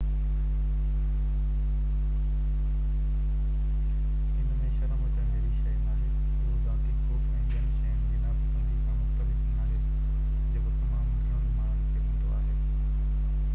ان ۾ شرم اچڻ جهڙي شيءِ ناهي اهو ذاتي خوف ۽ ٻين شين جي ناپسندي کان مختلف ناهي جيڪو تمام گهڻن ماڻهن کي هوندو آهي